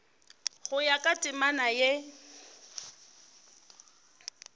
go ya ka temana ye